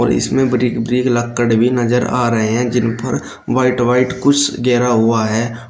और इसमें बड़ी बड़ी लक्कड़ भी नजर आ रहे हैं जिन पर व्हाइट व्हाइट कुछ घेरा हुआ है।